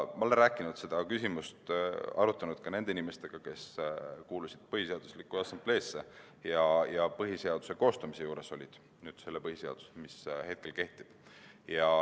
Ma olen arutanud seda küsimust ka nende inimestega, kes kuulusid Põhiseaduse Assambleesse ja olid selle põhiseaduse koostamise juures, mis hetkel kehtib.